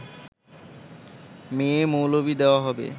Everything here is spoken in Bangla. মেয়ে-মৌলবি দেওয়া হবে